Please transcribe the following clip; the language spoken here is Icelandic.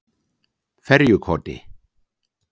Ferjukoti